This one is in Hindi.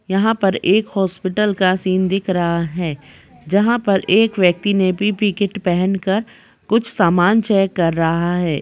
यहाँ पर एक हॉस्पिटल का सीन दिख रहा है। जहाँ पर एक व्यक्ति ने पी.पी.ई कीट पहनकर कुछ सामान चेक कर रहा है।